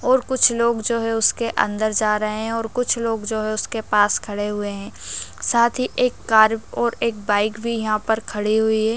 और कुछ लोग जो हैं उसके अंदर जा रहे हैं और कुछ लोग जो हैं उसके पास खड़े हुए हैं साथ ही एक कार और एक बाइक भी यहाँ पर खड़ी हुई हैं।